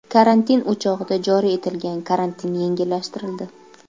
Karantin o‘chog‘ida joriy etilgan karantin yengillashtirildi .